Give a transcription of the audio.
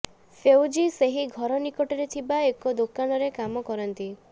ଫେଉଜି ସେହି ଘର ନିକଟରେ ଥିବା ଏକ ଦୋକାନରେ କାମ କରନ୍ତି